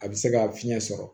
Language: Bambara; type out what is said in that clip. A bɛ se ka fiɲɛ sɔrɔ